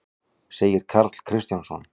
segir Karl Kristjánsson.